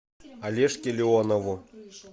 олежке леонову